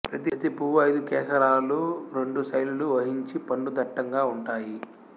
ప్రతి పువ్వు ఐదు కేసరాలూ రెండు శైలులు వహించి పండు దట్టంగా ఉంటాయి